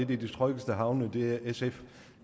de tryggeste havne